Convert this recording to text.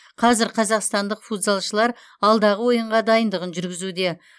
қазір қазақстандық футзалшылар алдағы ойынға дайындығын жүргізуде